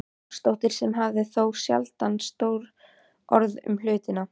Jónsdóttir sem hafði þó sjaldan stór orð um hlutina.